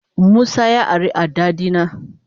Musa ya ari adda dina.